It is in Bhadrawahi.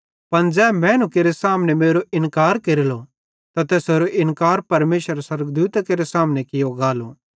पन ज़ै मैनू केरे सामने मेरो इन्कार केरेलो त तैसेरो इन्कार परमेशरेरे स्वर्गदूतां केरे सामने कियो गालो